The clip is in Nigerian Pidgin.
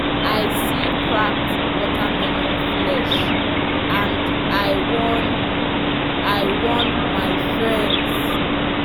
i see cracked watermelon flesh and i warn i warn my friends.